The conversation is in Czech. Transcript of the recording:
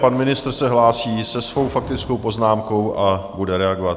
Pan ministr se hlásí se svou faktickou poznámkou a bude reagovat.